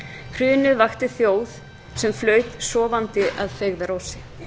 hrunið vakti þjóð sem flaut sofandi að feigðarósi